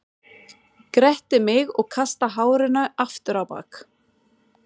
Gretti mig og kasta hárinu aftur á bak.